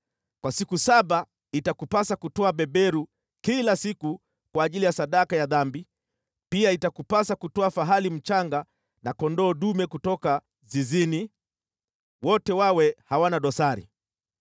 “Kwa siku saba itakupasa kutoa beberu kila siku kwa ajili ya sadaka ya dhambi, pia itakupasa kutoa fahali mchanga na kondoo dume kutoka zizini, wote wawe hawana dosari.